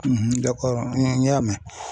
n y'a mɛn